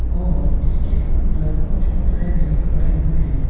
और इसके अंदर कुछ पुतले भी खड़े हुए हैं।